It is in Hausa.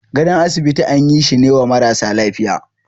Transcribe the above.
gadon asibiti an yi shine wa marasa lafiya.